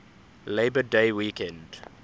labor day weekend